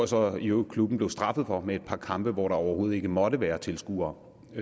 så i øvrigt klubben blev straffet for med et par kampe hvor der overhovedet ikke måtte være tilskuere så